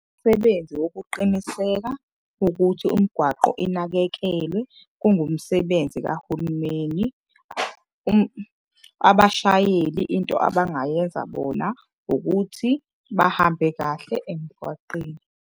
Umsebenzi wokuqiniseka ukuthi umgwaqo inakekelwe, kungumsebenzi kahulumeni. Abashayeli into abangayenza bona ukuthi bahambe kahle emgwaqeni.